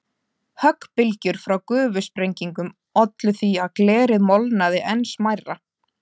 Höggbylgjur frá gufusprengingum ollu því að glerið molnaði enn smærra.